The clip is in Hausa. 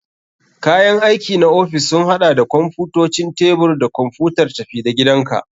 Kayan aiki na ofis sun haɗa da kwamfutocin tebur da kwamfutar tafi-da-gidanka.